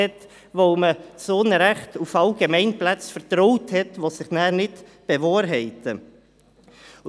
Denn wir haben zu Unrecht auf Allgemeinplätze vertraut, die sich nicht bewahrheitet haben.